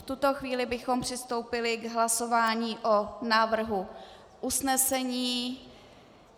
V tuto chvíli bychom přistoupili k hlasování o návrhu usnesení.